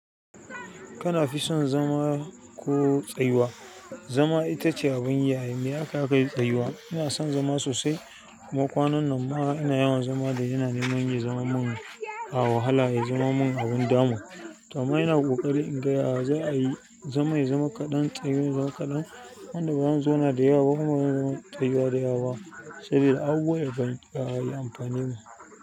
Kana fi son zama ko tsayuwa? Zama ita ce abin yi ai, mai akayi akai tsayuwa. Ina son zama sosai. Kuma kwanan nan ma ina yawan zama da yana neman ya zaman mun a wahala, ya zama mun abin damu. To amma ina ƙoƙari in ga ya za a yi zama ya zama kaɗan, tsayuwa ya zama kaɗan. Yanda ba zan zauna da yawa ba kuma bazanyi tsayiwa da yawa ba sai dai abubuwan da kan yi amfani mu.